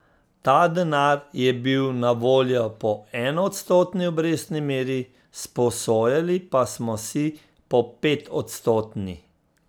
Ta denar je bil na voljo po enoodstotni obrestni meri, sposojali pa smo si po petodstotni.